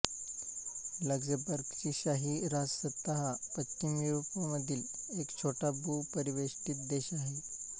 लक्झेंबर्गची शाही राजसत्ता हा पश्चिम युरोपामधील एक छोटा भूपरिवेष्ठित देश आहे